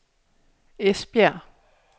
Esbjerg